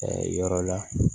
yɔrɔ la